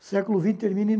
O século vinte termina em.